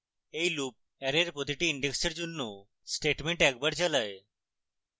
এই loop অ্যারের প্রতিটি ইনডেক্সের জন্য statements একবার চালায়